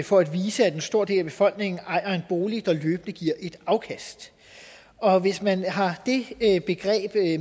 for at vise at en stor del af befolkningen ejer en bolig der løbende giver et afkast og hvis man har det begreb